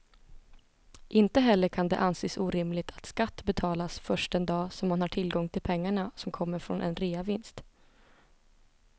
Inte heller kan det anses orimligt att skatt betalas först den dag som man har tillgång till pengarna som kommer från en reavinst.